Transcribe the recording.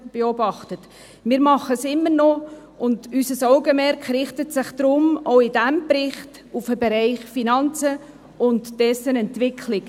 Dies tun wir immer noch, und unser Augenmerk richtet sich deshalb, auch bei diesem Bericht, auf den Bereich Finanzen und dessen Entwicklung.